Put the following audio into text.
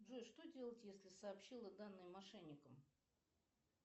джой что делать если сообщила данные мошенникам